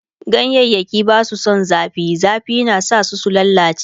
ganyayaki Basu San zafi, zafi na sa su lallace